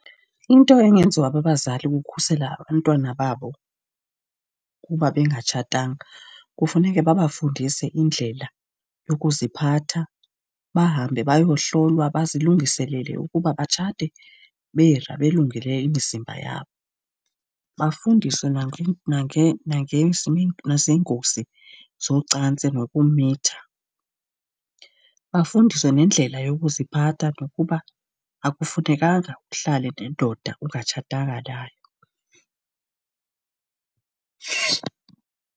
Into engenziwa babazali ukukhusela abantwana babo kuba bengatshatanga, kufuneke babafundise indlela yokuziphatha. Bahambe bayohlolwa bazilungiselele ukuba batshate belungele imizimba yabo. Bafundiswe naziingozi zocantsi nokumitha. Bafundiswe nendlela yokuziphatha, nokuba akufunekanga uhlale nendoda ongatshatanga nayo.